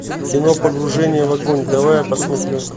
кино погружение в огонь давай я посмотрю